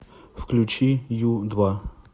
включи ю два